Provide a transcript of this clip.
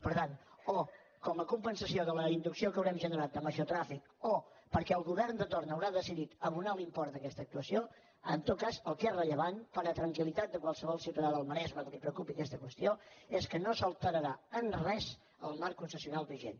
per tant com a compensació de la inducció que haurem generat de major trànsit o perquè el govern de torn haurà decidit abonar l’import d’aquesta actuació en tot cas el que és rellevant per a tranquil·litat de qualsevol ciutadà del maresme que li preocupi aquesta qüestió és que no s’alterarà en res el marc concessional vigent